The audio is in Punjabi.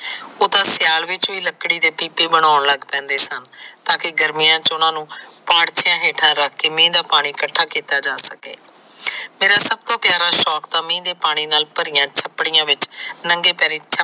ਉਹ ਤਾ ਸਿਆਲ ਵਿੱਚ ਵੀ ਲੱਕੜੀ ਦੀ ਬਣਾਉਣ ਲੱਗ ਪੈਂਦੇ ਸਨ ਤਾਕੇ ਗਰਮੀਆਂ ਚ ਉਹਨਾ ਨੂੰ ਹੇਠਾ ਰੱਕ ਕੇ ਮਿੰਹ ਦਾ ਪਾਣੀ ਇਕੱਠਾ ਕੀਤਾ ਜਾ ਸਕੇ। ਮੇਰਾ ਸੱਭ ਤੋਂ ਪਿਆਰਾ ਸੋਂਕ ਮਿਹ ਦੇ ਪਾਣੀ ਨਾਲ ਭਰੀਆਂ ਛੱਪੜੀਆਂ ਵਿੱਚ ਨੰਗੇ ਪੈਰੀ